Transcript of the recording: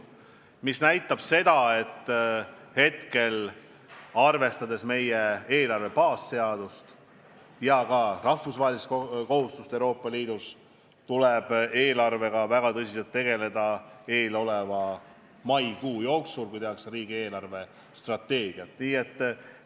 Prognoos näitab seda, et arvestades meie eelarve baasseadust ja ka rahvusvahelist kohustust Euroopa Liidus, tuleb eelarvega maikuu jooksul, kui tehakse riigi eelarvestrateegiat, väga tõsiselt tegelda.